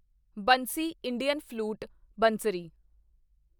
Bansi Indian flute ਬੰਸਰੀ